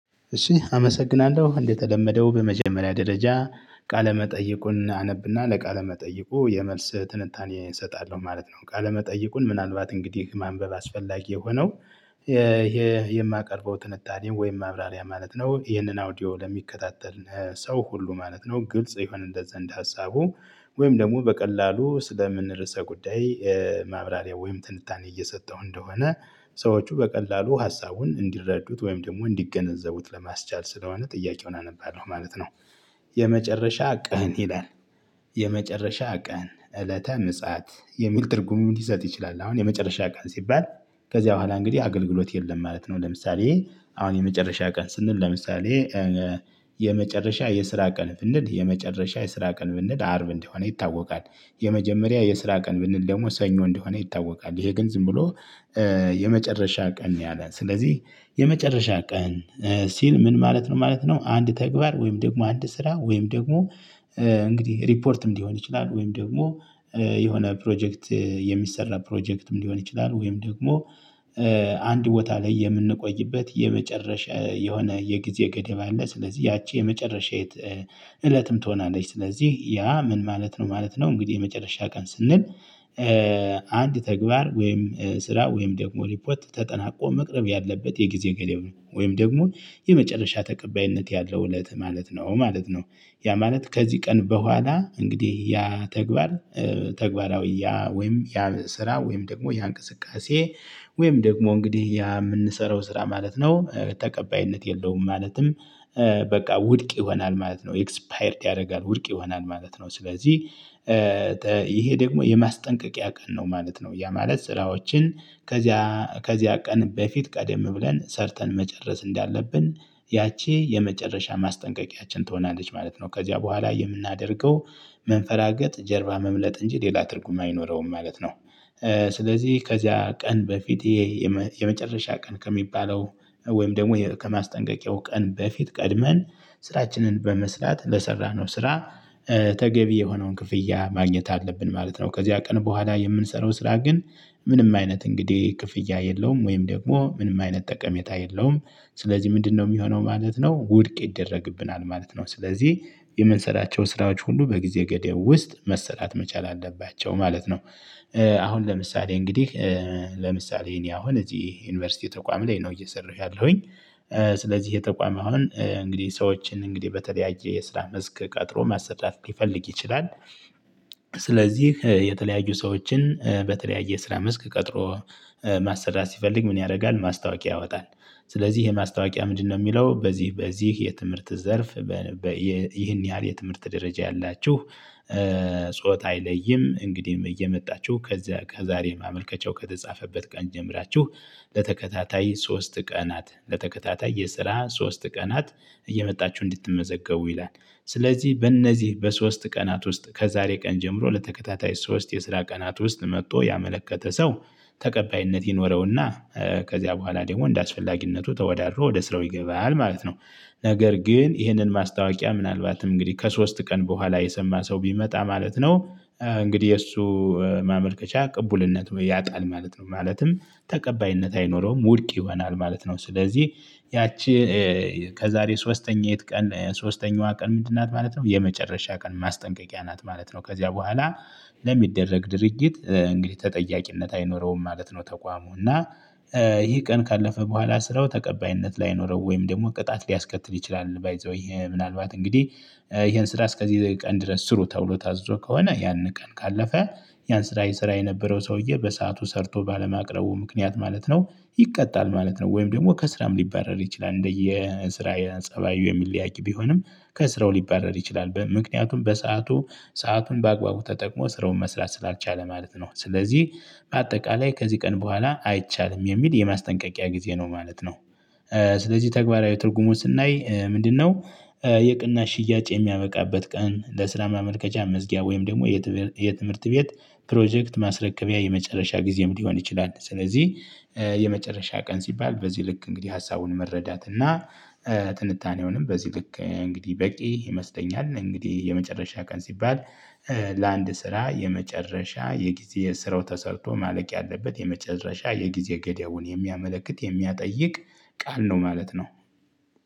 እሺ አመሰግናለሁ። እንደተለመደው በመጀመሪያ ደረጃ ቃለ መጠይቁን አነብና ለቃለ መጠይቁ የመልስ ትንታኔ እሰጣለሁ ማለት ነው። ቃለመጠይቁን ምናልባት እንግዲህ ማንበብ አስፈላጊ የሆነው ይሄ የማቀርበው ትንታኔ ወይም ማብራሪያ ማለት ነው ይሄንን አውዲዮ ለሚከታተል ሰው ሁሉ ማለት ነው ግልጽ ይሆን እንደ ዘንድ ሀሳቡ ወይም ደግሞ በቀላሉ ስለምን ርዕሰ ጉዳይ ማብራሪያ ወይም ትንታኔ እየሰጠው እንደሆነ ሰዎቹ በቀላሉ ሀሳቡን እንዲረዱት ወይም ደግሞ እንዲገነዘቡት ለማስቻል ስለሆነ ጥያቄውን አነባለሁ ማለት ነው። የመጨረሻ ቀን ይላል የመጨረሻ ቀን እለተ ምጽአት የሚል ትርጉም ሊሰጥ ይችላል አሁን የመጨረሻ ቀን ሲባል ከዚያ በኋላ እንግዲህ አገልግሎት የለም ማለት ነው ለምሳሌ አሁን የመጨረሻ ቀን ስንል ለምሳሌ የመጨረሻ የስራ ቀን ብንል የመጨረሻ የስራ ቀን ብንል አርብ እንደሆነ ይታወቃል፣ የመጀመሪያ የስራ ቀን ብንል ደግሞ ሰኞ እንደሆነ ይታወቃል፣ ይሄ ግን ዝም ብሎ የመጨረሻ ቀን ነው ያለን ስለዚህ የመጨረሻ ቀን ሲል ምን ማለት ነው ማለት ነው አንድ ተግባር ወይም ደግሞ አንድ ስራ ወይም ደግሞ እንግዲህ ሪፖርትም ሊሆን ይችላል ወይም ደግሞ የሆነ ፕሮጀክት የሚሰራ ፕሮጀክትም ሊሆን ይችላል ወይም ደግሞ አንድ ቦታ ላይ የምንቆይበት የመጨረሻ የሆነ የጊዜ ገደብ አለ ስለዚህ ያቺ የመጨረሻ እለትም ትሆናለች ስለዚህ ያ ምን ማለት ነው ማለት ነው እንግዲህ የመጨረሻ ቀን ስንል አንድ ተግባር ወይም ስራ ወይም ደግሞ ሪፖርት ተጠናቆ መቅረብ ያለበት የጊዜ ገደብ ነው ወይም ደግሞ የመጨረሻ ተቀባይነት ያለው እለት ማለት ነው ማለት ነው፣ ያ ማለት ከዚህ ቀን በኋላ እንግዲህ ያ ተግባር ተግባራዊ ያ ወይም ያ ስራ ወይም ደግሞ ያ እንቅስቃሴ ወይም ደግሞ እንግዲህ ያ የምንሰራው ስራ ማለት ነው ተቀባይነት የለውም ማለትም በቃ ውድቅ ይሆናል ማለት ነው ኤክስፓየርድ ያደርጋል ውድቅ ይሆናል ማለት ነው ስለዚህ ይሄ ደግሞ የማስጠንቀቂያ ቀን ነው ማለት ነው ያ ማለት ስራዎችን ከዚያ ከዚያ ቀን በፊት ቀደም ብለን ሰርተን መጨረስ እንዳለብን ያቺ የመጨረሻ ማስጠንቀቂያችን ትሆናለች ማለት ነው፣ ከዚያ በኋላ የምናደርገው መንፈራገጥ ጀርባ መምለጥ እንጂ ሌላ ትርጉም አይኖረውም ማለት ነው። ስለዚህ ከዚያ ቀን በፊቴ የመጨረሻ ቀን ከሚባለው ወይም ደግሞ ከማስጠንቀቂያው ቀን በፊት ቀድመን ስራችንን በመስራት ለሰራነው ስራ ተገቢ የሆነውን ክፍያ ማግኘት አለብን ማለት ነው። ከዚያ ቀን በኋላ የምንሰራው ስራ ግን ምንም አይነት እንግዲህ ክፍያ የለውም ወይም ደግሞ ምንም አይነት ጠቀሜታ የለውም ስለዚህ ምንድነው የሚሆነው ማለት ነው ውድቅ ይደረግብናል ማለት ነው፤ ስለዚህ የምንሰራቸው ስራዎች ሁሉ በጊዜ ገደብ ውስጥ መሰራት መቻል አለባቸው ማለት ነው። አሁን ለምሳሌ እንግዲህ ለምሳሌ እኔ አሁን እዚህ ዩኒቨርሲቲ ተቋም ላይ ነው እየሰራሁ ያለሁኝ ስለዚህ የተቋም አሁን እንግዲህ ሰዎችን እንግዲህ በተለያየ የስራ መስክ ቀጥሮ ማሰራት ይፈልግ ይችላል ስለዚህ የተለያዩ ሰዎችን በተለያየ ስራ መስክ ቀጥሮ ማሰራት ሲፈልግ ምን ያደርጋል ማስታወቂያ ያወጣል ስለዚህ ይሄ ማስታወቂያ ምንድነው የሚለው በዚህ በዚህ የትምህርት ዘርፍ ይህን ያህል የትምህርት ደረጃ ያላችሁ፣ ጾታ አይለይም እንግዲህ እየመጣችሁ ከዛ ከዛሬ ማመልከቻው ከተጻፈበት ቀን ጀምራችሁ ለተከታታይ ሶስት ቀናት፣ ለተከታታይ የስራ ሶስት ቀናት እየመጣችሁ እንድትመዘገቡ ይላል ስለዚህ በእነዚህ በሶስት ቀናት ውስጥ ከዛሬ ቀን ጀምሮ ለተከታታይ ሶስት የስራ ቀናት ውስጥ መጥቶ ያመለከተ ሰው ተቀባይነት ይኖረውና ከዚያ በኋላ ደግሞ እንደአስፈላጊነቱ ተወዳድሮ ወደ ስራው ይገባል ማለት ነው፤ ነገር ግን ይህንን ማስታወቂያ ምናልባት እንግዲህ ከሶስት ቀን በኋላ የሰማ ሰው ቢመጣ ማለት ነው እንግዲህ እሱ ማመልከቻ ቅቡልነቱን ያጣል ማለት ነው ማለትም ተቀባይነት አይኖረውም ውድቅ ይሆናል ማለት ነው፤ ስለዚህ ያቺ ከዛሬ ሶስተኛይቱ ቀን ሶስተኛዋ ቀን ምንድን ናት ማለት ነው የመጨረሻ ቀን ማስጠንቀቂያ ናት ማለት ነው ከዚያ በኋላ ለሚደረግ ድርጊት እንግዲህ ተጠያቂነት አይኖረውም ማለት ነው ተቋሙ፤ እና ይሄ ቀን ካለፈ በኋላ ስራው ተቀባይነት ላይኖረው ወይም ደግሞ ቅጣት ሊያስከትል ይችላል ባይ ዘ ዌይ ይሄ ምናልባት እንግዲህ ይሄን ስራ እስከዚህ ቀን ድረስ ስሩ ተብሎ ታዝዞ ከሆነ ያንን ቀን ካለፈ ያን ስራ የሰራ የነበረው ሰውዬ በሰአቱ ሰርቶ ባለማቅረቡ ምክንያት ማለት ነው ይቀጣል ማለት ነው ወይም ደግሞ ከስራም ሊባረር ይችላል እንደየ ስራ ፀባዩ የሚለያይ ቢሆንም ከስራው ሊባረር ይችላል ምክንያቱም በሰአቱ ሰአቱን በአግባቡ ተጠቅሞ ስረውን መስራት ስላልቻለ ማለት ነው፣ ስለዚህ በአጠቃላይ ከዚህ ቀን በኋላ አይቻልም የሚል የማስጠንቀቂያ ጊዜ ነው ማለት ነው። ስለዚህ ተግባራዊ ትርጉሙን ስናይ ምንድነው የቅና ሽያጭ የሚያመቃበት ቀን ለስራ ማመልከቻ መዝጊያ ወይም ደግሞ የትምህርት የትምህርት ቤት ፕሮጀክት ማስረከቢያ የመጨረሻ ጊዜም ሊሆን ይችላል ስለዚህ የመጨረሻ ቀን ሲባል በዚህ ልክ እንግዲህ ሀሳቡን መረዳት እና ትንታኔውንም በዚህ ልክ እንግዲህ በቂ ይመስለኛል እንግዲህ የመጨረሻ ቀን ሲባል ለአንድ ስራ የመጨረሻ የጊዜ ስራው ተሰርቶ ማለቅ ያለበት የመጨረሻ የጊዜ ገደቡን የሚያመለክት የሚያጠይቅ ቃል ነው ማለት ነው።